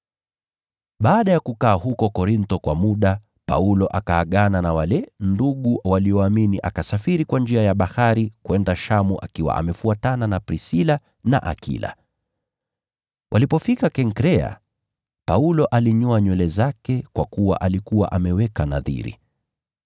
Baada ya kukaa Korintho kwa muda, Paulo akaagana na wale ndugu walioamini, akasafiri kwa njia ya bahari kwenda Shamu akiwa amefuatana na Prisila na Akila. Walipofika Kenkrea, Paulo alinyoa nywele zake kwa kuwa alikuwa ameweka nadhiri.